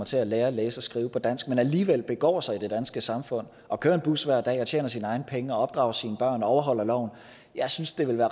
til at lære at læse og skrive på dansk alligevel begår han sig i det danske samfund og kører en bus hver dag og tjener sine egne penge og opdrager sine børn og overholder loven jeg synes det ville